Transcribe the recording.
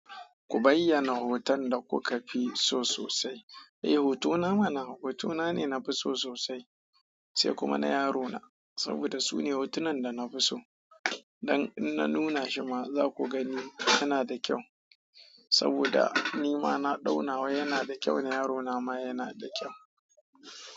Ku bayyana hoton da kuka fi so sosai. Eh, hotona mana, hotona ne nafi so sosai, sai kuma na yarona saboda su ne hotunan da nafi so. Ai in na nuna shima zaku gani yana da kyau saboda ni ma na ɗaunawa yana da kyau na yarona ma yana da kyau.